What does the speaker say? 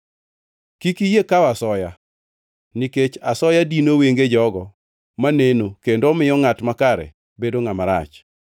“Kik iyie kawo asoya, nikech asoya dino wenge jogo maneno kendo omiyo ngʼat makare bedo ngʼama rach.